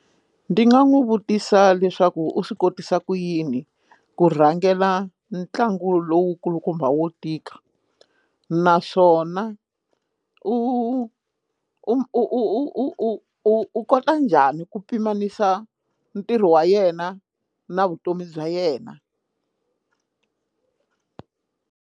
Ndi nga n'wi vutisa leswaku u swi kotisa ku yini ku rhangela ntlangu lowu kulukumba wo tika naswona u u u u kota njhani ku pimanisa ntirho wa yena na vutomi bya yena.